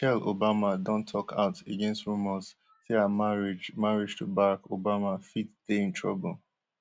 michelle obama don tok out against rumours say her marriage marriage to barack obama fit dey in trouble